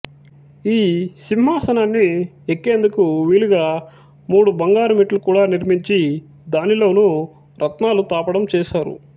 ఈ సింహాసనాన్ని ఎక్కేందుకు వీలుగా మూడు బంగారు మెట్లు కూడా నిర్మించి దానిలోనూ రత్నాలు తాపడం చేశారు